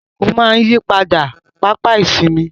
Àsìkò máa ń yí padà, pápá ìsinmi.